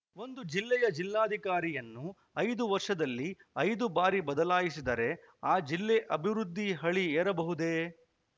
ಒಂದು ಜಿಲ್ಲೆಯ ಜಿಲ್ಲಾಧಿಕಾರಿಯನ್ನು ಐದು ವರ್ಷದಲ್ಲಿ ಐದು ಬಾರಿ ಬದಲಾಯಿಸಿದರೆ ಆ ಜಿಲ್ಲೆ ಅಭಿವೃದ್ಧಿ ಹಳಿ ಏರಬಹುದೇ